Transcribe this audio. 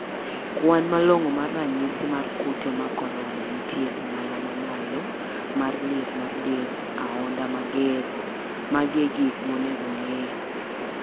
Kwan malong'o mar ranyisi mar kute mar korona nitie ong'ala mamalo mar liet mar del, ahonda mager-magi e gik monego ng'i.